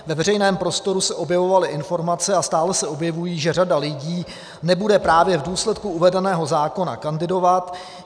Ve veřejném prostoru se objevovaly informace, a stále se objevují, že řada lidí nebude právě v důsledku uvedeného zákona kandidovat.